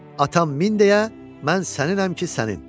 Atam min deyə, mən səninəm ki, sənin.